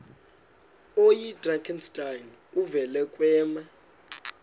oyidrakenstein uvele kwema